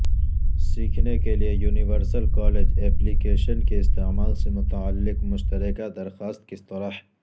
سیکھنے کے لئے یونیورسل کالج ایپلی کیشن کے استعمال سے متعلق مشترکہ درخواست کس طرح